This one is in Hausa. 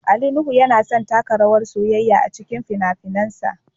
Ali Nuhu yana son taka rawar soyayya a cikin fina-finansa